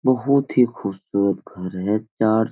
बहुत ही खूबसूरत घर है चार --